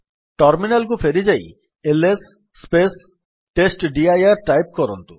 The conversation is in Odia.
ଟର୍ମିନାଲ୍ କୁ ଫେରିଯାଇ ଏଲଏସ୍ ଟେଷ୍ଟଡିର ଟାଇପ୍ କରନ୍ତୁ